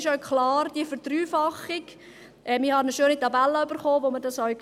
Was diese Verdreifachung betrifft, habe ich eine schöne Tabelle erhalten, wo man dies sieht.